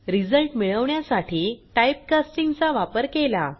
result मिळवण्यासाठी type casting चा वापर केला